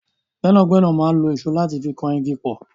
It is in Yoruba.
Gbẹ́nàgbénà máa n lo ìṣó láti fi kan igi pọ̀.